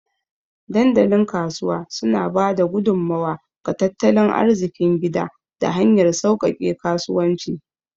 Dandalin Kasuwa suna ba da gudummawa ga tattalin arzikin gida ta hanyar sauƙaƙe kasuwanci